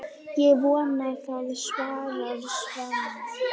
Ég vona það, svarar Svenni.